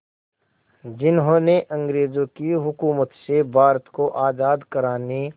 जिन्होंने अंग्रेज़ों की हुकूमत से भारत को आज़ाद कराने